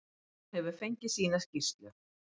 Hún hefur fengið sína skýrslu.